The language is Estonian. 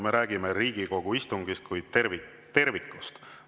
Me räägime Riigikogu istungist kui tervikust.